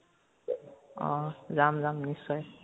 অ, যাম যাম, নিশ্চয়